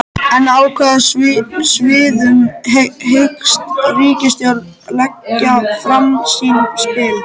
En á hvaða sviðum hyggst ríkisstjórnin leggja fram sín spil?